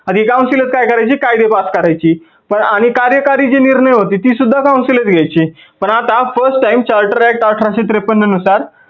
आणि हे council च काय करायची कायदे pass करायची आणि कार्याकारी जे निर्णय होते ते सुद्धा council च घ्यायची. पण आता first time charter act अठराशे त्रेपन्न नुसार